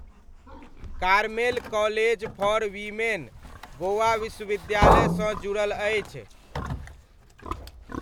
Carmel college for women Goa विश्वविद्यालय सँ जुड़ल अछि।